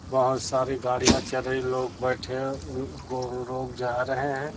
बहोत सारी गाड़ियां चल रही लोग बैठे हैं लोग जा रहे हैं।